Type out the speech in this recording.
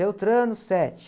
Beltrano, sete.